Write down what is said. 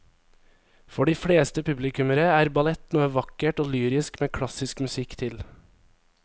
For de fleste publikummere er ballett noe vakkert og lyrisk med klassisk musikk til.